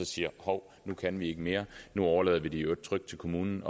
sige hov nu kan vi ikke mere nu overlader vi det i øvrigt trygt til kommunen